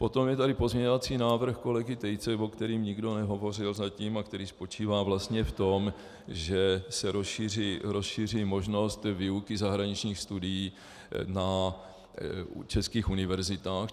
Potom je tady pozměňovací návrh kolegy Tejce, o kterém nikdo nehovořil zatím a který spočívá vlastně v tom, že se rozšíří možnost výuky zahraničních studií na českých univerzitách.